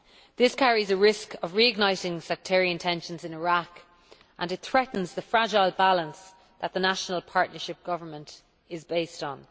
This carries a risk of re igniting sectarian tensions in Iraq, and it threatens the fragile balance that the national partnership government' is based on.